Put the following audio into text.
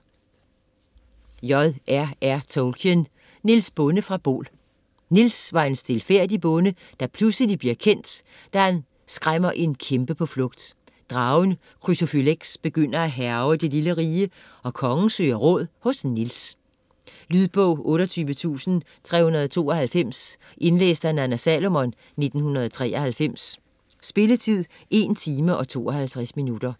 Tolkien, J. R. R.: Niels Bonde fra Bol Niels var en stilfærdig bonde, der pludselig bliver kendt, da han skræmmer en kæmpe på flugt. Dragen Chrysophylex begynder at hærge det lille rige, og kongen søger råd hos Niels. Lydbog 28392 Indlæst af Nanna Salomon, 1993. Spilletid: 1 timer, 52 minutter.